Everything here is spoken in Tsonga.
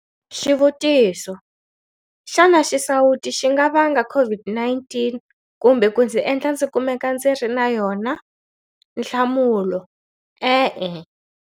Xivutiso- Xana xisawutisi xi nga vanga COVID-19 kumbe ku ndzi endla ndzi kumeka ndzi ri na yona? Nhlamulo- E-e.